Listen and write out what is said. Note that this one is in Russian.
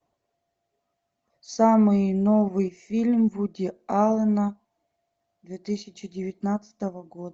самый новый фильм вуди аллена две тысячи девятнадцатого года